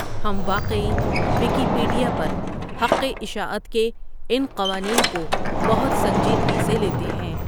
ہم واقعی ویکیپیڈیا پر حق اشاعت کے ان قوانین کو بہت سنجیدگی سے لیتے ہیں۔